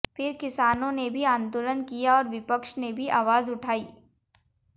फिर किसानों ने भी आंदोलन किया और विपक्ष ने भी आवाज उठाई